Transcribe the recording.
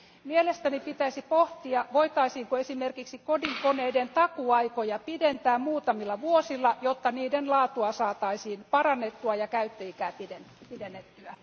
Mielestäni pitäisi pohtia, voitaisiinko esimerkiksi kodinkoneiden takuuaikoja pidentää muutamilla vuosilla, jotta niiden laatua saataisiin parannettua ja käyttöikää pidennettyä.